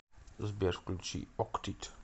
сбер включи октит